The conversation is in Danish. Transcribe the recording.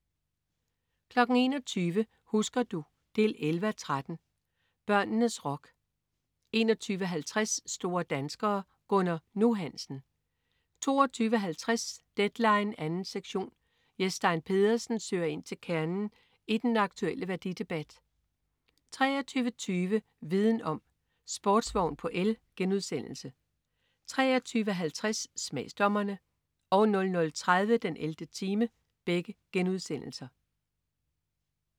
21.00 Husker du? 11:13. Børnenes rock 21.50 Store danskere. Gunnar "Nu" Hansen 22.50 Deadline 2. sektion. Jes Stein Pedersen søger ind til kernen i den aktulle værdidebat 23.20 Viden om: Sportsvogn på el* 23.50 Smagsdommerne* 00.30 den 11. time*